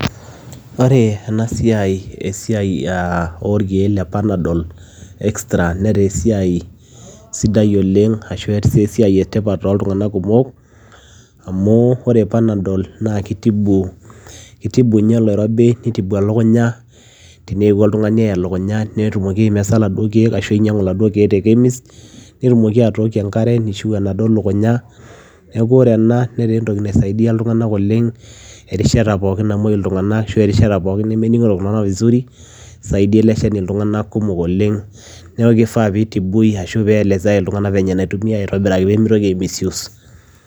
ore ena siai esiai orkeek le parnadol extra netaa esiai sidai oleng, arashu ataa si esiai e tipat toltunganak kumok, amu ore parnadol keitibu keitibu ninye oloiribi neitibu elukumya teneewuo oltungani eya elukunya netumoki aimesa laduo keek, ashu ainyangu laduo keek te chemist netumoki atookie enkare neishiu enaduo lukunya neeku ore ena netaa entoki naisaidia iltung'anak oleng erishata pooki namoi iltung'anak ashu erishata pooki nemeningito iltunganak vizuri esiadai ele shani iltunganak kumok oleng, neeku keifaa peitibui ashu peeielesea iltunganak venye enaitumiya aitobiraki pee meitoki ai misuse.